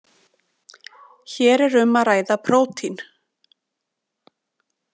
Hér er um að ræða prótín.